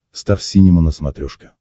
стар синема на смотрешке